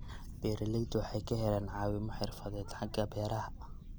Beeraleydu waxay ka helaan caawimo xirfadeed xagga beeraha.